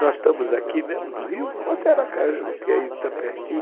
Nós estamos aqui mesmo, no Rio, ou até Aracaju, que está pertinho.